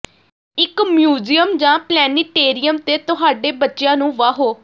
ਇਕ ਮਿਊਜ਼ੀਅਮ ਜਾਂ ਪਲੈਨੀਟੇਰਿਅਮ ਤੇ ਤੁਹਾਡੇ ਬੱਚਿਆਂ ਨੂੰ ਵਾਹੋ